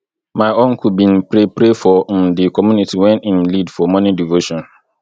my uncle bin pray pray for um di community wen im lead for morning devotion